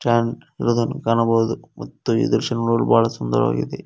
Tent ಇರುದನ್ನು ಕಾಣಬಹುದು ಮತ್ತು ಈ ದೃಶ್ಯ ನೋಡಲು ಬಹಳ ಸುಂದರವಾಗಿದೆ.